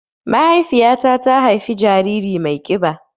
Mahaifiƴa ta ta haifa jariri mai kiɓa